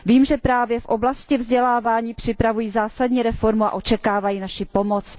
Vím, že právě v oblasti vzdělávání připravují zásadní reformu a očekávají naši pomoc.